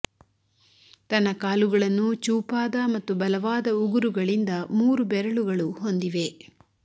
ತನ್ನ ಕಾಲುಗಳನ್ನು ಚೂಪಾದ ಮತ್ತು ಬಲವಾದ ಉಗುರುಗಳಿಂದ ಮೂರು ಬೆರಳುಗಳು ಹೊಂದಿವೆ